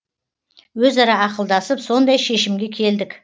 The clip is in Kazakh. өзара ақылдасып сондай шешімге келдік